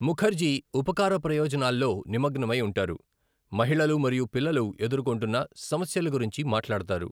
ముఖర్జీ ఉపకార ప్రయోజనాల్లో నిమగ్నమై ఉంటారు, మహిళలు మరియు పిల్లలు ఎదుర్కొంటున్న సమస్యల గురించి మాట్లాడతారు.